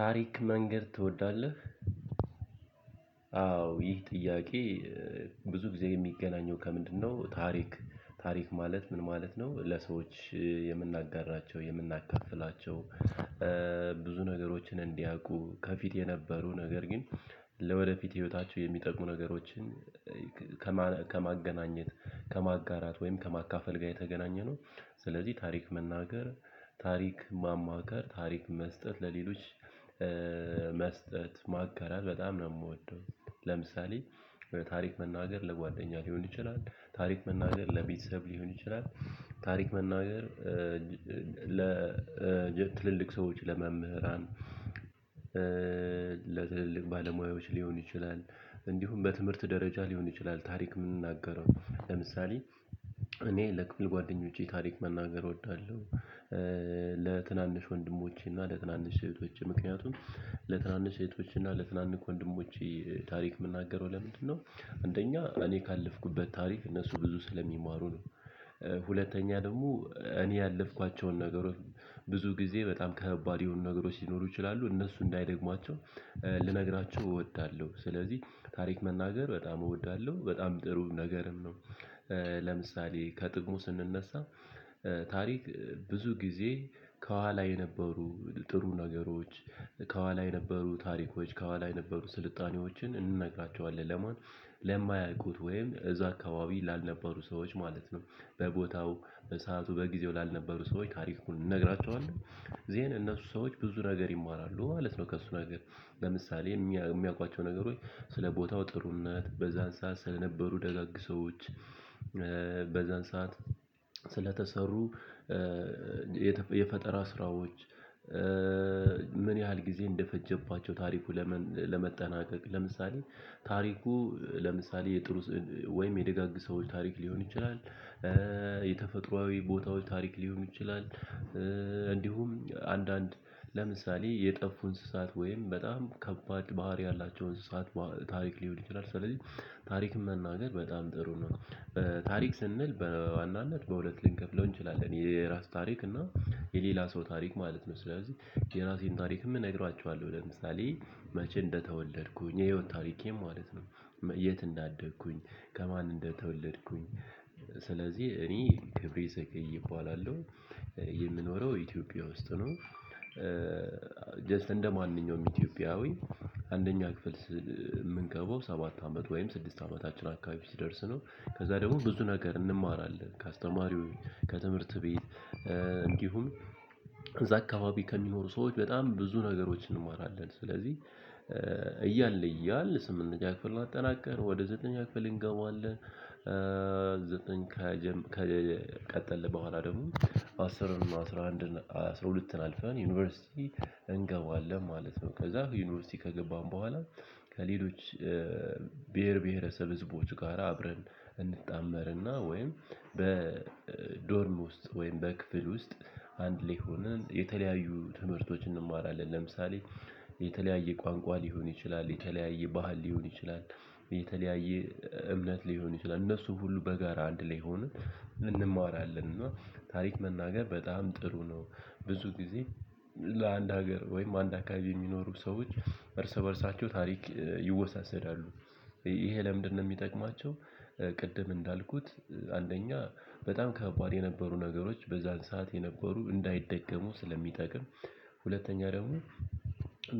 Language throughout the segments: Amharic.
ታሪክ መንገር ትወዳለህ? አዎ ይህ ጥያቄ? ብዙ ጊዜ የሚገናኘው ከምንድነው ታሪክ ታሪክ ማለት ምን ማለት ነው? ለሰዎች የምናጋራቸው የምናካፍላቸው። ብዙ ነገሮችን እንዲያውቁ ከፊት የነበሩ ነገር ግን ለወደፊት ህይወታቸው የሚጠቅሙ ነገሮችን። ከማገናኘት ከማጋራት ወይም ከማካፈል ጋር የተገናኘ ነው። ስለዚህ ታሪክ መናገር ታሪክ ማማከር ታሪክ መስጠት ለሌሎች መስጠት ማጋራት በጣም ነው ምወደው። ለምሳሌ ታሪክ መናገር ለጓደኛ ሊሆን ይችላል ታሪክ መናገር ለቤተሰብ ሊሆን ይችላል። ታሪክ መናገር ለትልልቅ ሰዎች ለመምህራን ለትልልቅ ባለሙያዎች ሊሆን ይችላል። እንዲሁም በትምህርት ደረጃ ሊሆን ይችላል ታሪክ ምንናገረው ለምሳሌ እኔ ለክፍል ጓደኞቼ ታሪክ መናገር እወዳለሁ። ለትናንሽ ወንድሞቼ ለትናንሽ ሴቶቼ ምክንያቱም ለትናንሽ እህቶቼና ለትናንሽ ወንድሞቼ ታሪክ የምናገረው ለምንድነው? አንደኛ እኔ ካለፍኩበት ታሪክ እነሱ ብዙ ስለሚማሩ ነው። ሁለተኛ ደግሞ እኔ ያለፍኳቸውን ነገሮች ብዙ ጊዜ በጣም ከባድ የሆኑ ነገሮች ሊኖሩ ይችላሉ እነሱ እንዳይደግሟቸው ልነግራችሁ እወዳለሁ። ስለዚህ ታሪክ መናገር በጣም እወዳለሁ በጣም ጥሩ ነገርም ነው። ለምሳሌ ከጥቅሙ ስንነሳ ታሪክ ብዙ ጊዜ ከኋላ የነበሩ ጥሩ ነገሮች ከኋላ የነበሩ ታሪኮች ከኋላ የነበሩ ስልጣኔዎችን እንነግራቸዋለን ለማን? ለማያውቁት ወይም እዛ አካባቢ ላልነበሩ ሰዎች ማለት ነው። በቦታው ሰዓቱ በጊዜው ላልነበሩ ሰዎች ታሪኩን እንነግራቸዋለን። ዜን እነሱ ሰዎች ብዙ ነገር ይማራሉ ማለት ነው። ከእሱ ነገር ለምሳሌ የሚያውቋቸው ነገሮች ስለ ቦታው ጥሩነት በዛን ስዓት ስለነበሩ ደጋግ ሰዎች። በዛን ሰዓት ስለታሰሩ። የፈጠራ ስራዎች። ምን ያህል ጊዜ እንደፈጀባቸው ታሪኩ ለመጠናቀቅ ለምሳሌ ታሪኩ ለምሳሌ የጥሩ ወይም የደጋግ ሰዎች ታሪክ ሊሆን ይችላል። የተፈጥሮአዊ ቦታዎች ታሪክ ሊሆን ይችላል። እንዲሁም አንዳንድ ለምሳሌ የጠፉ እንስሳት ወይም በጣም ከባድ ባህሪ ያላቸው እንስሳት ታሪክ ሊሆን ይችላል ስለዚህ ታሪክ መናገር በጣም ጥሩ ነው። ታሪክ ስንል በዋናነት በሁለት ልንከፍለው እንችላለን የራስ ታሪክ እና የሌላ ሰው ታሪክ ማለት ነው። ስለዚህ የራሴን ታሪክም እነግራችኋለሁ ለምሳሌ መቼ እንደተወለድኩኝ የህይወት ታሪኬ ማለት ነው። የት እንዳደግኩኝ ከማን እንደተወለድኩኝ ስለዚህ እኔ ክብሬ ዘገዬ እባላለሁ። የምኖረው ኢትዮጵያ ውስጥ ነው። ጀስት እንደማንኛውም ኢትዮጵያዊ አንደኛ ክፍል የምንገባው ሰባት አመት ወይም ስድስት አመታችን አካባቢ ሲደርስ ነው። ከዛ ደግሞ ብዙ ነገር እንማራለን ከአስተማሪው ከትምህርት ቤት። እንዲሁም እዛ አካባቢ ከሚኖሩ ሰዎች በጣም ብዙ ነገሮችን እንማራለን ስለዚህ። እያልን እያልን ስምንተኛ ክፍልን አጠናቀን ወደ ዘጠነኛ ክፍል እንገባለን። ዘጠኝ ከቀጠለ በኋላ ደግሞ አስርን አስራ አንድን አስራ ሁለትን አልፈን ዩኒቨርሲቲ እንገባዋለን ማለት ነው። ከዛ ዩኒቨርሲቲ ከገባን በኋላ ከሌሎች ብሄር ብሄረሰብ ህዝቦች ጋር አብረን እንጣመርና ወይም በዶርም ውስጥ ወይም በክፍል ውስጥ አንድ ላይ ሆነን የተለያዩ ትምህርቶችን እንማራለን። ለምሳሌ የተለያየ ቋንቋ ሊሆን ይችላል የተለያየ ባህል ሊሆን ይችላል። የተለያዬ እምነት ሊሆን ይችላል እነሱ ሁሉ በጋራ አንድ ላይ ሆነን እንማራለን። እና ታሪክ መናገር በጣም ጥሩ ነው። ብዙ ጊዜ ለአንድ ሀገር ወይም አንድ አካባቢ የሚኖሩ ሰዎች እርስ በእርሳቸው ታሪክ ይወሳሰዳሉ። ይሄ ለምንድነው? የሚጠቅማቸው ቅድም እንዳልኩት አንደኛ በጣም ከባድ የነበሩ ነገሮች በዛን ሰዓት የነበሩ እንዳይደገሙ ስለሚጠቅም። ሁለተኛ ደግሞ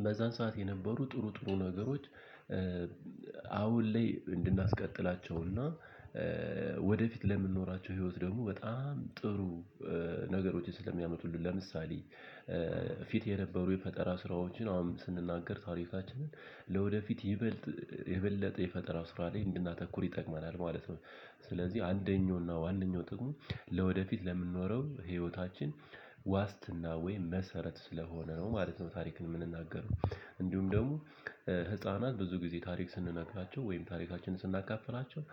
በዛን ሰዓት የነበሩ ጥሩ ጥሩ ነገሮች። አሁን ላይ እንድናስቀጥላቸውና ወደፊት ለምንኖራቸው ህይወት ደግሞ በጣም ጥሩ። ነገሮችን ስለሚያመጡልን ለምሳሌ ፊት የነበሩ የፈጠራ ስራዎችን አሁን ስንናገር ታሪክናችንን ለወደፊት ይበልጥ የበለጠ የፈጠራው ስራ ላይ እንድናተኩር ይጠቅመናል ማለት ነው። ስለዚህ አንደኛውና ዋነኛው ጥቅሙ ለወደፊት ለምንኖረው ህይወታችን ዋስትና ወይ መሰረት ስለሆነ ነው ማለት ነው። ታሪክን የምንናገረው እንዲሁም ደግሞ ህፃናት ብዙ ጊዜ ታሪክ ስንናግራቸው ወይም ታሪካችንን ስናካፍራቸው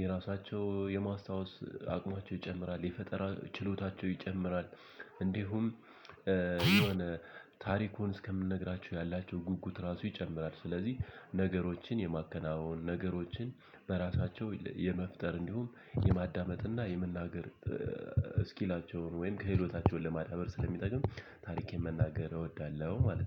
የራሳቸው የማስታወስ አቅማቸው ይጨምራል የፈጠራ ችሎታቸው ይጨምራል። እንዲሁም ታሪኩን እስከ ምንነግራቸው ያላቸው ጉጉት እራሱ ይጨምራል። ስለዚህ ነገሮችን የማከናወን ነገሮችን በራሳቸው የመፍጠር እንዲሁም የማዳመጥ እና የመናገር እስኪላቸውን ወይም ክህሎታቸውን ለማዳበር ስለሚጠቅም። ታሪኬን መናገር እወዳለሁ ማለት ነው